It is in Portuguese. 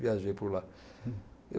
Viajei por lá.